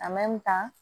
kan